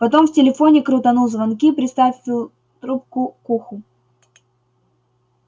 потом в телефоне крутанул звонки приставил трубку к уху